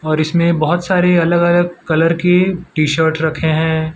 और इसमें बहोत सारे अलग अलग कलर के टी शर्ट रखे है।